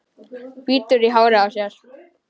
Bítur í hárið á sér.